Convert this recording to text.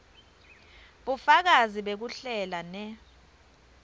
bufakazi bekuhlela ne